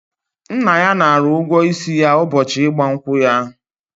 Nna ya nara ụgwọ isi ya ụbọchị ịgba nkwụ ya.